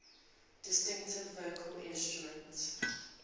distinctive vocal instrument